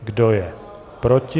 Kdo je proti?